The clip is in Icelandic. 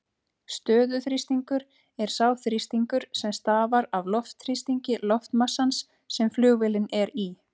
Stöðuþrýstingur er sá þrýstingur sem stafar af loftþrýstingi loftmassans sem flugvélin er í.